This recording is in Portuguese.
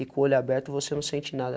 E com o olho aberto você não sente nada.